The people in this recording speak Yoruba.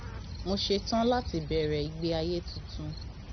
mo ṣetán láti bẹrẹ ìgbé ayé tuntun